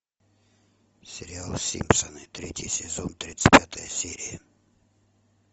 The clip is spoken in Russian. сериал симпсоны третий сезон тридцать пятая серия